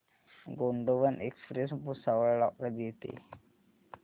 Gondwana express Bhusawal ला कधी येते